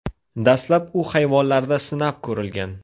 Dastlab u hayvonlarda sinab ko‘rilgan.